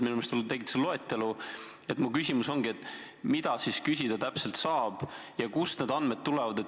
Minu küsimus ongi, mida siis täpselt küsida saab ja kust need andmed tulevad.